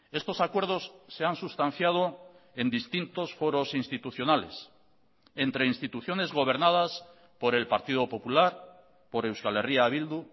estos acuerdos se han sustanciado en distintos foros institucionales entre instituciones gobernadas por el partido popular por euskal herria bildu